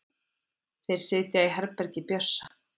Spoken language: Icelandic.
Þeir sitja í herbergi Bjössa.